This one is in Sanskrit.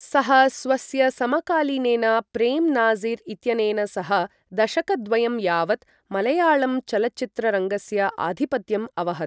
सः स्वस्य समकालीनेन प्रेम् नाज़िर् इत्यनेन सह दशकद्वयं यावत् मलयाळम् चलच्चित्ररङ्गस्य आधिपत्यम् अवहत्।